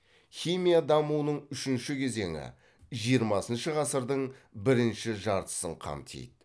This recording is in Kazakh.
химия дамуының үшінші кезеңі жиырмасыншы ғасырдың бірінші жартысын қамтиды